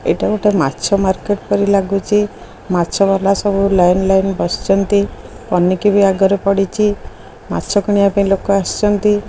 ଏଇଟା ଗୋଟେ ମାଛ ମାର୍କେଟ୍ ପରି ଲାଗୁଚି ମାଛବାଲା ସବୁ ଲାଇନ୍ ଲାଇନ୍ ବସିଛନ୍ତି ପନିକି ବି ଆଗରେ ପଡିଚି ମାଛ କିଣିବା ପାଇଁ ଲୋକ ଆସିଛନ୍ତି।